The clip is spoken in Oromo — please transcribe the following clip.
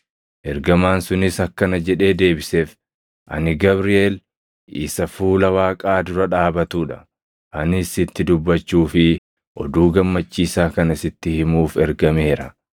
Ergamaan sunis akkana jedhee deebiseef; “Ani Gabriʼeel isa fuula Waaqaa dura dhaabatuu dha; anis sitti dubbachuu fi oduu gammachiisaa kana sitti himuuf ergameera.